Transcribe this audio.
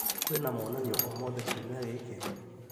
Kwĩna monanio o mothe kiumia gĩkĩ ?